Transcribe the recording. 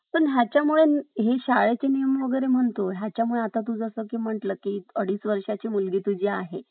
तिच्या मुलांसाठी ती कोणत्याही थराला जाऊ शकते शेवटी अं आई जिथे अं शेवटी मी एकच म्हणेन कि जिथे जिथे प्रेम आहे तिथे तिथे माझ्या आईचे अस्थित्व आहे